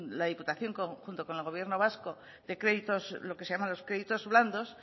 la diputación junto con el gobierno vasco de créditos lo que se llaman los créditos blandos